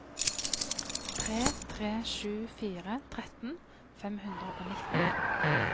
tre tre sju fire tretten fem hundre og nitten